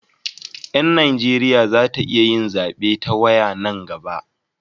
Yan Najeriya za ta iya yin zabe ta waya nan gaba